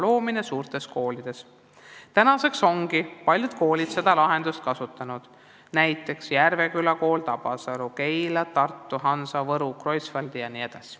Paljud koolid ongi seda lahendust kasutanud, näiteks Järveküla, Tabasalu ja Keila kool, samuti Tartu Hansa Kool ja Võru Kreutzwaldi Kool.